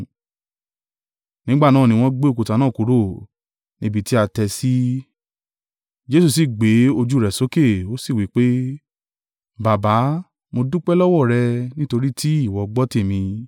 Nígbà náà ni wọ́n gbé òkúta náà kúrò (níbi tí a tẹ́ ẹ sí). Jesu sì gbé ojú rẹ̀ sókè, ó sì wí pé, “Baba, mo dúpẹ́ lọ́wọ́ rẹ nítorí tí ìwọ gbọ́ tèmi.